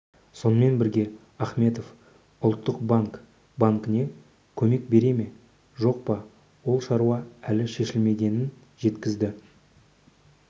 сонымен бірге ахметов ұлттық банк банкіне көмек бере ме жоқ па ол шаруа әлі шешілмегенін жеткізді